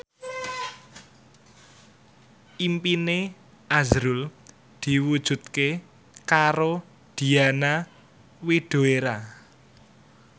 impine azrul diwujudke karo Diana Widoera